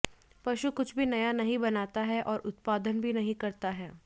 पशु कुछ भी नया नहीं बनाता है और उत्पादन नहीं करता है